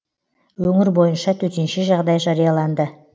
өңір бойынша төтенше жағдай жарияланды